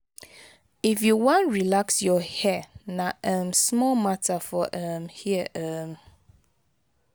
if you wan relax your hair na um small matter for um here. um